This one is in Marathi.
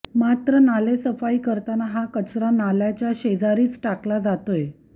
मात्र नालेसफाई करताना हा कचरा नाल्याच्या शेजारीच टाकला जातोय